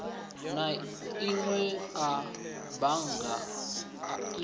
na inwe a bannga i